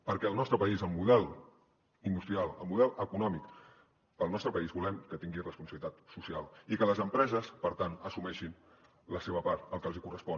perquè al nostre país el model industrial el model econòmic per al nostre país volem que tingui responsabilitat social i que les empreses per tant assumeixin la seva part el que els hi correspon